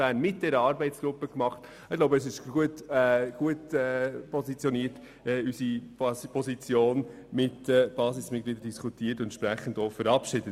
Auch die Vernehmlassungsantwort der SP Kanton Bern haben wir zusammen mit dieser Arbeitsgruppe verfasst.